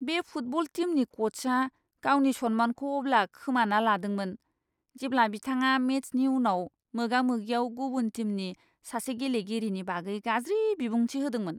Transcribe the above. बे फुटबल टीमनि क'चआ गावनि सन्मानखौ अब्ला खोमाना लादोंमोन, जेब्ला बिथाङा मेचनि उनाव मोगा मोगियाव गुबुन टीमनि सासे गेलेगिरिनि बागै गाज्रि बिबुंथि होदोंमोन!